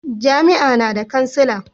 jami'a na da kansila